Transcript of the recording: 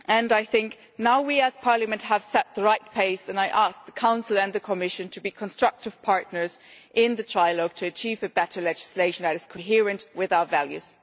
I think now we, as Parliament, have set the right pace, and I ask the Council and the Commission to be constructive partners in the trilogue to achieve better legislation that is coherent with our values.